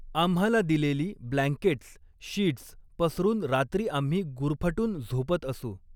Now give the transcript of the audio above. आम्हाला दिलेली blankets, sheets पसरून रात्री आम्ही गुरफटून झोपत असू!